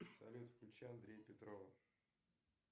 салют включи андрея петрова